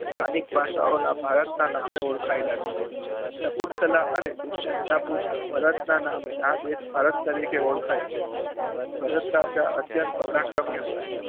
સ્થાનિક ભાષા ભારતના નામેં ઔળખાયેલા છે સકુત્લા અને દુસીયંત ના પુત્ર ભરત નાનામે આ દેશ ભારત ના નામે ઔળખાય છે ભરત રાજા અત્યંત પરાક્રમી હતા